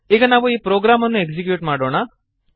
ಈಗ ನಾವು ಈ ಪ್ರೋಗ್ರಾಮನ್ನು ಎಕ್ಸೀಕ್ಯೂಟ್ ಮಾಡೋಣ